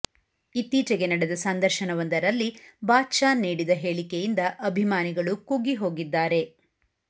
ಇತ್ತೀಚೆಗೆ ನಡೆದ ಸಂದರ್ಶನವೊಂದರಲ್ಲಿ ಬಾದ್ ಷಾ ನೀಡಿದ ಹೇಳಿಕೆಯಿಂದ ಅಭಿಮಾನಿಗಳು ಕುಗ್ಗಿ ಹೋಗಿದ್ದಾರೆ